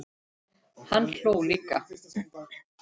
Hann hló líka.